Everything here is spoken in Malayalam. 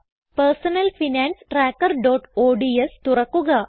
personal finance trackerഓഡ്സ് തുറക്കുക